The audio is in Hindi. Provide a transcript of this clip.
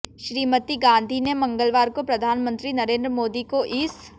श्रीमती गांधी ने मंगलवार को प्रधानमंत्री नरेंद्र मोदी को इस